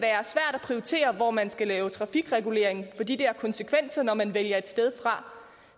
at prioritere hvor man skal lave trafikregulering fordi det har konsekvenser når man vælger et sted fra